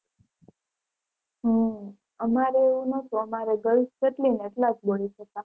હમ અમારે એવું નહોતું અમારે girls જેટલી ને એટલા જ boys હતા.